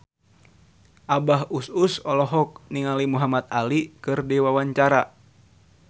Abah Us Us olohok ningali Muhamad Ali keur diwawancara